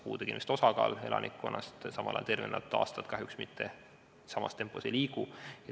Puudega inimeste osakaal kasvab, kuid tervena elatud aastate hulk kahjuks samas tempos ei liigu.